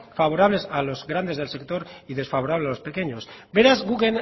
favorables a los grandes del sector y desfavorables a los pequeños beraz guk